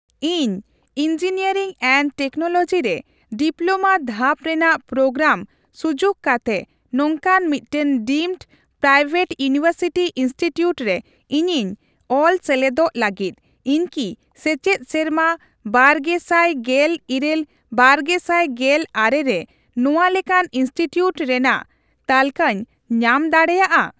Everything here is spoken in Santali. ᱤᱧ ᱤᱱᱡᱤᱱᱤᱭᱟᱨᱤᱝ ᱮᱱᱰ ᱴᱮᱠᱱᱳᱞᱚᱜᱤ ᱨᱮ ᱰᱤᱯᱞᱳᱢᱟ ᱫᱷᱟᱯ ᱨᱮᱱᱟᱜ ᱯᱨᱳᱜᱨᱟᱢ ᱥᱩᱡᱩᱠ ᱠᱟᱛᱮ ᱱᱚᱝᱠᱟᱱ ᱢᱤᱫᱴᱟᱝ ᱰᱤᱢᱰ ᱯᱨᱟᱭᱵᱷᱮᱴ ᱤᱭᱩᱱᱤᱣᱮᱨᱥᱤᱴᱤ ᱤᱱᱥᱴᱤᱴᱤᱭᱩᱴ ᱨᱮ ᱤᱧᱤᱧ ᱚᱞ ᱥᱮᱞᱮᱫᱚᱜ ᱞᱟᱹᱜᱤᱫ, ᱤᱧ ᱠᱤ ᱥᱮᱪᱮᱫ ᱥᱮᱨᱢᱟ ᱵᱟᱨᱜᱮᱥᱟᱮᱜᱮᱞ ᱤᱨᱟᱹᱞᱼᱵᱟᱨᱜᱮᱥᱟᱭ ᱜᱮᱞ ᱟᱨᱮ ᱨᱮ ᱱᱚᱣᱟ ᱞᱮᱠᱟᱱ ᱤᱱᱥᱴᱤᱴᱤᱭᱩᱴ ᱨᱮᱱᱟᱜ ᱛᱟᱞᱠᱟᱹ ᱧᱟᱢ ᱫᱟᱲᱮᱭᱟᱜᱼᱟ ?